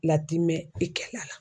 Latimɛn i kɛ la.